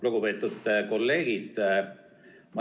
Lugupeetud kolleegid!